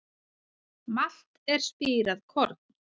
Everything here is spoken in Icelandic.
Malt er spírað korn.